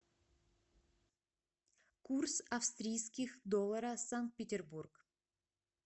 курс австрийских долларов санкт петербург